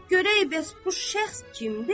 Görək bəs bu şəxs kimdi?